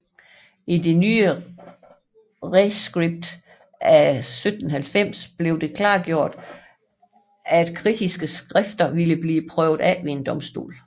I det nye reskript af 1790 blev det klargjort at kritiske skrifter ville blive prøvet ved en domstol